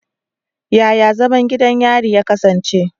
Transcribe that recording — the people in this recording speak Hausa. Yaya zaman gidan yari ya kasance?